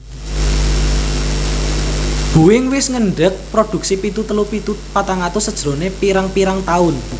Boeing wis ngendeg produksi pitu telu pitu patang atus sajrone pirang pirang tahun